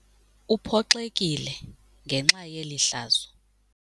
Uphoxekile ngenxa yeli hlazo.